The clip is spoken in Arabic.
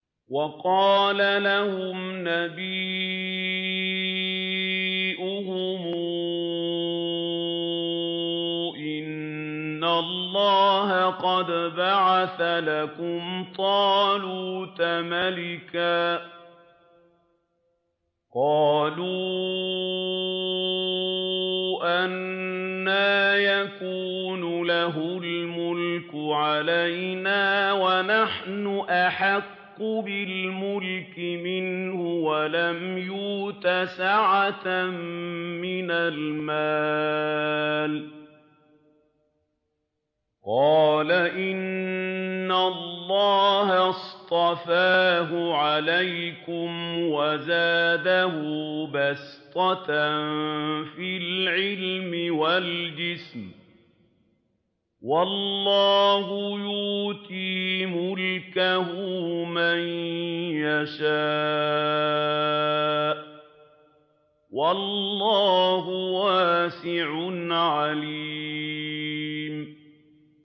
وَقَالَ لَهُمْ نَبِيُّهُمْ إِنَّ اللَّهَ قَدْ بَعَثَ لَكُمْ طَالُوتَ مَلِكًا ۚ قَالُوا أَنَّىٰ يَكُونُ لَهُ الْمُلْكُ عَلَيْنَا وَنَحْنُ أَحَقُّ بِالْمُلْكِ مِنْهُ وَلَمْ يُؤْتَ سَعَةً مِّنَ الْمَالِ ۚ قَالَ إِنَّ اللَّهَ اصْطَفَاهُ عَلَيْكُمْ وَزَادَهُ بَسْطَةً فِي الْعِلْمِ وَالْجِسْمِ ۖ وَاللَّهُ يُؤْتِي مُلْكَهُ مَن يَشَاءُ ۚ وَاللَّهُ وَاسِعٌ عَلِيمٌ